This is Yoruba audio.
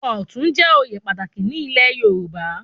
Ọ̀tún jẹ oyè pàtàkì ní ilé Yorùbá